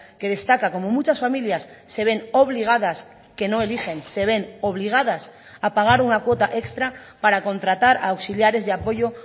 que destaca cómo muchas familias se ven obligadas que no eligen se ven obligadas a pagar una cuota extra para contratar a auxiliares de apoyo